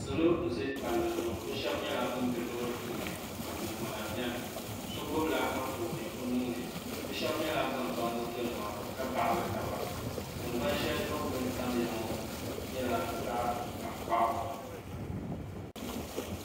salo n bɛ palli zuɣu bi shab nyɛla bin bɛ loori puuni ka gungona biɛni so gbubila Anfooni o nuuni bi shab nyɛla ban ba moto nima ka baɣali taba tingbani shɛli zuɣu bi ni tamya ŋɔ nyɛla zaɣ tankpaɣu